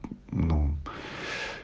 нуу